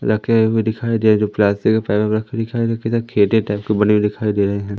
रखे हुए दिखाई दे रहे जो प्लास्टिक टाइप के बने हुए दिखाई दे रहे हैं।